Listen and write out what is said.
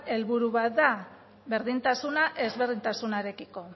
helburu bat da berdintasuna ezberdintasunarekiko